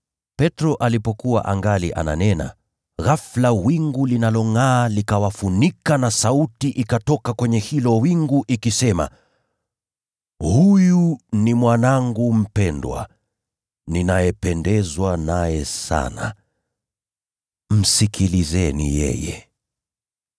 Petro alipokuwa angali ananena, ghafula wingu lililongʼaa likawafunika, na sauti ikatoka kwenye hilo wingu ikisema, “Huyu ni Mwanangu mpendwa. Ninapendezwa naye sana. Msikieni yeye.”